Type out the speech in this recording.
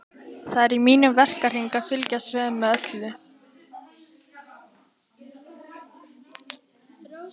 Það er í mínum verkahring að fylgjast vel með öllu